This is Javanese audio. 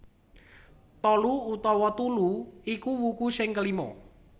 Tolu utawa Tulu iku wuku sing kelima